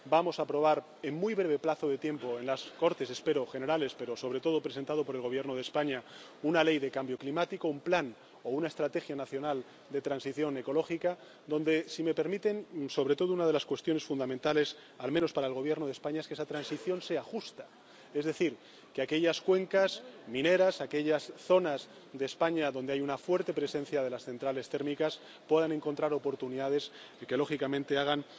Vamos a aprobar en muy breve plazo de tiempo —espero—, en las Cortes Generales, presentada por el Gobierno de España, una ley de cambio climático, un plan o una estrategia nacional de transición ecológica, donde, si me permiten, una de las cuestiones fundamentales —al menos para el Gobierno de España— es que esa transición sea justa, es decir, que aquellas cuencas mineras, aquellas zonas de España en las que hay una fuerte presencia de las centrales térmicas puedan encontrar oportunidades y que, lógicamente, hagan